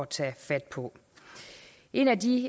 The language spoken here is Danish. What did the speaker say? tage fat på en af de